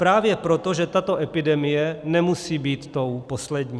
Právě proto, že tato epidemie nemusí být tou poslední.